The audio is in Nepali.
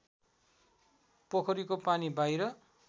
पोखरीको पानी बाहिर